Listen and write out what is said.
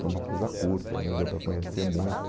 Foi uma coisa curta, nem deu para conhecer muito.